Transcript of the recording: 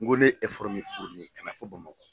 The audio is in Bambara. N ko ne ye min kana fo Bamakɔ.